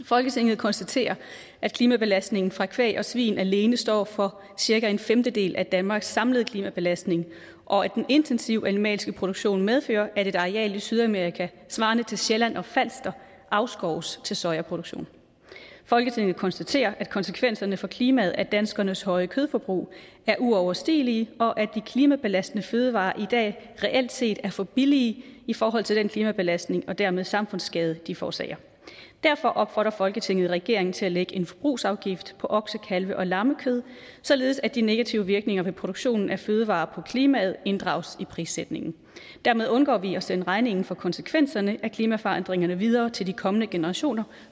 folketinget konstaterer at klimabelastningen fra kvæg og svin alene står for cirka en femtedel af danmarks samlede klimabelastning og at den intensive animalske produktion medfører at et areal i sydamerika svarende til sjælland og falster afskoves til sojaproduktion folketinget konstaterer at konsekvenserne for klimaet af danskernes høje kødforbrug er uoverstigelige og at de klimabelastende fødevarer i dag reelt set er for billige i forhold til den klimabelastning og dermed samfundsskade de forårsager derfor opfordrer folketinget regeringen til at lægge en forbrugsafgift på okse kalve og lammekød således at de negative virkninger ved produktionen af fødevarer på klimaet inddrages i prissætningen dermed undgår vi at sende regningen for konsekvenserne af klimaforandringerne videre til de kommende generationer